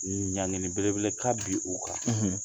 Ɲangenni belebele ka bi u kan,